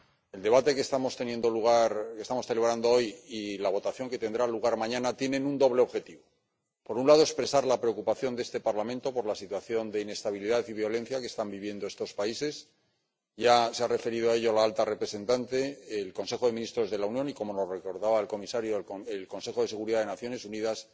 El debate que estamos celebrando hoy y la votación que tendrá lugar mañana tienen un doble objetivo por un lado, expresar la preocupación de este Parlamento por la situación de inestabilidad y violencia que están viviendo estos países —ya se han referido a ello la alta representante, el Consejo de Ministros de la Unión y, como nos recordaba el comisario, el Consejo de Seguridad de las Naciones Unidas—